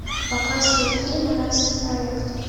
показывай фильм райский проект